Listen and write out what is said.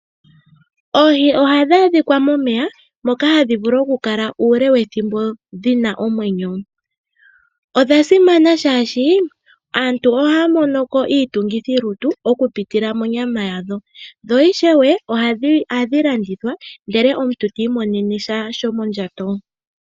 Oohii oha dhadhika momeya moka hadhivulu oku kala ule wethimbo dhina omwenyo, odha simana shashi aantu ohamonoko itungithilutu oku pitila monyama yadho, dho ishewe ohadhilandithwa ndele omuntu timonene sha shomondjato.